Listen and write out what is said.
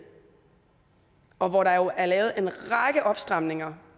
og hvor der jo er lavet en række opstramninger